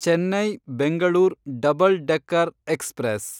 Chennai Bengaluru double decker express